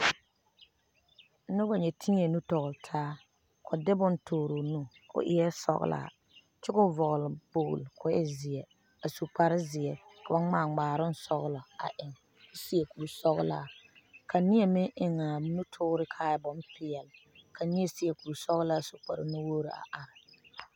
Noba ŋa teɛ nuuri tɔgeli taa, kɔ de bon tɔre o nu o eɛ sɔglaa kyɛ kɔ vɔgeli kpolo kɔ e zeɛ a su kpare zeɛ ka ba ŋmaa ŋmaaroŋ sɔglɔ a eŋ kɔ seɛ kur sɔglaa ka neɛ meŋ a nu tɔɔre kaa e bonpɛɛle, ka seɛ kuri sɔglaa su kpare nuwogiri kaa e pɛɛle